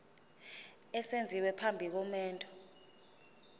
esenziwa phambi komendo